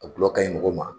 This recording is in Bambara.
A gulɔ ka ɲi mɔgɔ ma